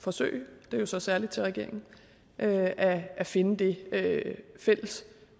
forsøge det er jo så særlig til regeringen at at finde det fælles